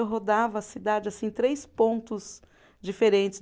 Eu rodava a cidade assim em três pontos diferentes.